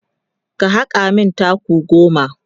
ka haka min taku goma!